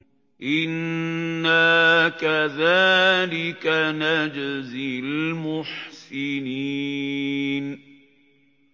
إِنَّا كَذَٰلِكَ نَجْزِي الْمُحْسِنِينَ